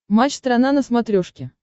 матч страна на смотрешке